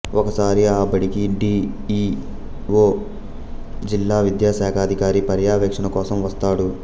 ఒకసారి ఆ బడికి డి ఈ ఓ జిల్లా విద్యాశాఖాదికారి పర్యవేక్షణ కోసం వస్తాడు